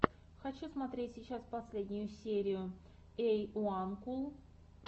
хочу смотреть сейчас последнюю серию эйуанкул